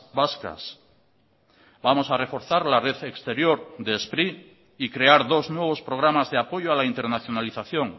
vascas vamos a reforzar la red exterior de spri y crear dos nuevos programas de apoyo a la internacionalización